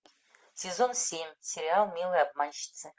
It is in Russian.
сезон семь сериал милые обманщицы